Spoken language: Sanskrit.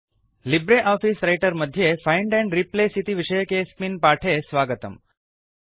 लिब्रे आफीस रैटर मध्ये फैंड एंड रिप्लेस इति विषयकेऽस्मिन् पाठे स्वागतम्